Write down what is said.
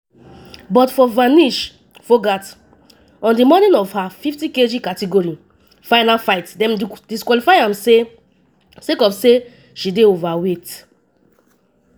but for vinesh phogat on di morning of her 50kg category final fight dem disqualify her sake of say she dey overweight.